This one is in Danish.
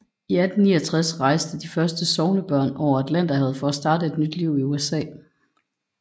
I 1869 rejste de første sognebørn over Atlanterhavet for at starte et nyt liv i USA